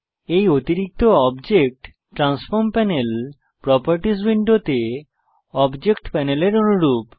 এই অতিরিক্ত object transform panel properties উইন্ডোতে অবজেক্ট প্যানেলের অনুরূপ